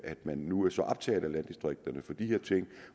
man nu er så optaget af landdistrikterne for de her ting